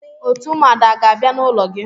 Òtù ụmụada a ga-abia n'ulo gi?